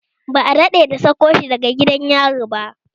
Ba a daɗe da sako shi daga gidan yari ba